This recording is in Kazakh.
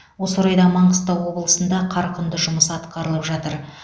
осы орайда маңғыстау облысында қарқынды жұмыс атқарылып жатыр